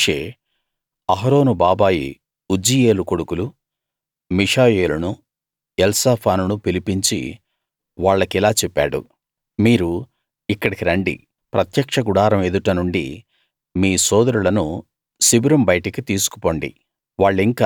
అప్పుడు Moshe Aharon బాబాయి Uzziel కొడుకులు మీషాయేలునూ ఎల్సాఫానునూ పిలిపించి వాళ్ళకిలా చెప్పాడు మీరు ఇక్కడికి రండి ప్రత్యక్ష గుడారం ఎదుట నుండి మీ సోదరులను శిబిరం బయటకు తీసుకుపొండి